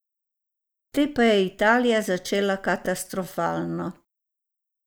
Te pa je Italija začela katastrofalno.